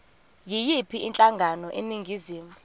yiyiphi inhlangano eningizimu